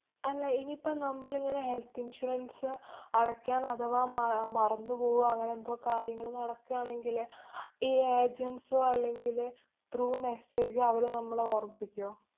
അല്ല, ഇനിയിപ്പ നമ്മളിങ്ങനെ health insurance അ് അടയ്ക്കാന്‍ അഥവാ മ~ അഹ് മറന്നു പോവോ അങ്ങനെ എന്തോ കാര്യങ്ങള് നടക്കുകയാണെങ്കിലേ ഈ agents ഓ, അല്ലെങ്കില് through message അവര് നമ്മളെ ഓര്‍മ്മിപ്പിക്ക്വോ?